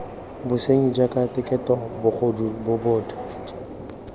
bosenyi jaaka keteko bogodu bobod